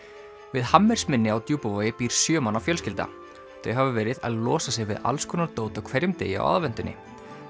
við á Djúpavogi býr sjö manna fjölskylda þau hafa verið að losa sig við dót á hverjum degi á aðventunni